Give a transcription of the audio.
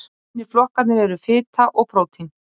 hinir flokkarnir eru fita og prótín